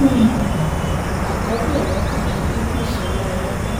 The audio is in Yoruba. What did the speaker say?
um àkọ́bí ẹ̀ lọkùnrin idris ọláńréwájú